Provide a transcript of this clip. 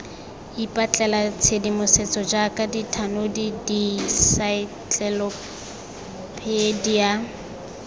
ipatlela tshedimosetso jaaka dithanodi diensaetlelopedia